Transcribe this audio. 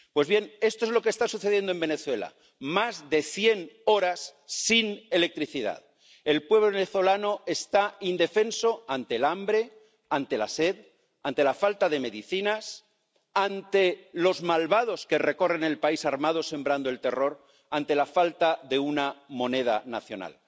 Pues bien, esto es lo que está sucediendo en Venezuela más de cien horas sin electricidad. El pueblo venezolano está indefenso ante el hambre, ante la sed, ante la falta de medicinas, ante los malvados que recorren el país armados, sembrando el terror, ante la falta de una moneda nacional.